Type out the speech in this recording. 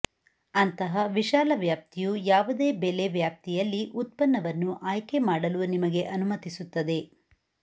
ಅಂತಹ ವಿಶಾಲ ವ್ಯಾಪ್ತಿಯು ಯಾವುದೇ ಬೆಲೆ ವ್ಯಾಪ್ತಿಯಲ್ಲಿ ಉತ್ಪನ್ನವನ್ನು ಆಯ್ಕೆ ಮಾಡಲು ನಿಮಗೆ ಅನುಮತಿಸುತ್ತದೆ